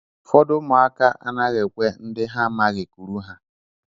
Ụfọdụ ụmụaka anaghị ekwe ndị ha amaghị kuru ha